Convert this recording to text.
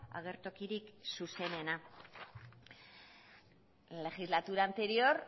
agertokirik zuzenena la legislatura anterior